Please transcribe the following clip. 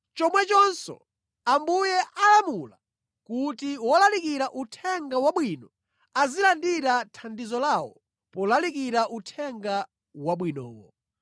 Chomwechonso Ambuye akulamula kuti wolalikira Uthenga Wabwino azilandira thandizo lawo polalikira Uthenga Wabwinowo.